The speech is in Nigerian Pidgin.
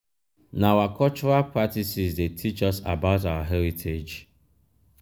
na our cultural practices dey teach us about our heritage.